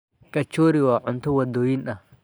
Kachori waa cunto waddooyin ah.